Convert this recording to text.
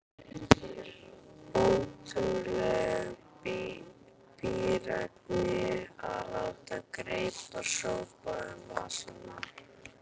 Ótrúleg bíræfni að láta greipar sópa um vasana.